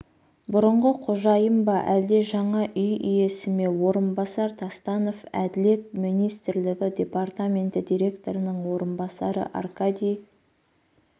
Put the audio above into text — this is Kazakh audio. бұрынғы қожайын ба әлде жаңа үй иесі ме орынбасар тастанов әділет министрлігі департаменті директорының орынбасары аркадий